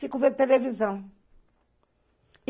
Fico vendo televisão.